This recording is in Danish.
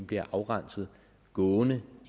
bliver afrenset gående